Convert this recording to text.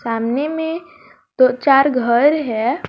सामने में दो चार घर है।